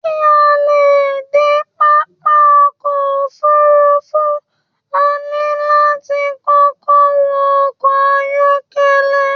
Ki a lè dé pápá ọkọ òfurùnfu, a ní láti kọkọ wọ ọkọ ayọkẹlẹ